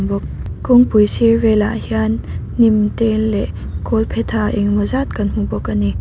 bawk kawngpui sir velah hian hnim te leh kawlphetha engemaw zat kan hmu bawk a ni.